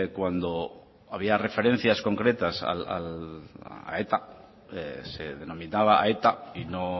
cuando había referencia concretas a eta se denominaba a eta y no